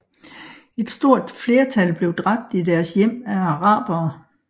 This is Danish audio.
Et stort flertal blev dræbt i deres hjem af arabere